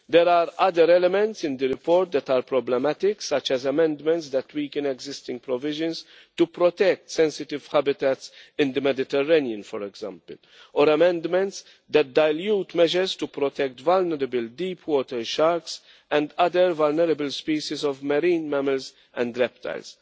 There are other elements in the report that are problematic, such as amendments that weaken existing provisions to protect sensitive habitats in the Mediterranean, for example or amendments that dilute measures to protect vulnerable deep-water sharks and other vulnerable species of marine mammals and reptiles,